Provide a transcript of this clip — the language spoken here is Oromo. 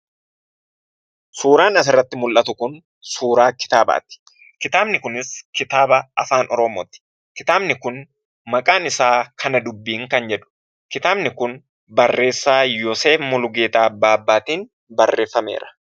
Suuraan asirratti mul'atu kun suuraa kitaabaati. Kitaabni kunis kitaaba Afaan Oromooti. Kitaabni kun maqaan isaa kana dubbiin kan jedhu. Kitaabni kun barreessaa Yooseef Mulugeetaa Baabbaatiin barreeffameera.